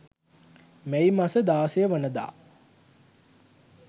මැයි මස 16 වන දා